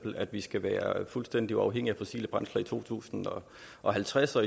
at vi skal være fuldstændig uafhængige af fossile brændstoffer i tusind og halvtreds og